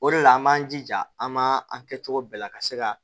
O de la an b'an jija an ma an kɛ cogo bɛɛ la ka se ka